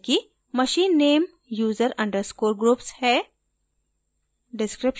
ध्यान दें कि machine name user underscore groups है